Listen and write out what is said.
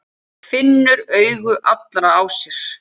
Finnur augu allra á sér.